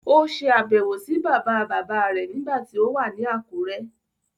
Ó se àbẹ̀wọ̀ sí bàbáabàbáa rẹ̀ nígbà tí ó wà ní Àkúrẹ́.